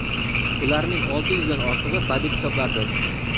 Ularning olti yuzdan ortig‘i badiiy kitoblardir.